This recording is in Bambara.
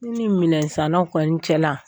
I ni minɛnsanaw kɔni cɛnna